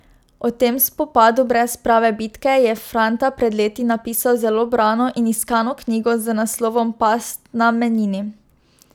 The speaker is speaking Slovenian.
O tem spopadu brez prave bitke je Franta pred leti napisal zelo brano in iskano knjigo z naslovom Past na Menini.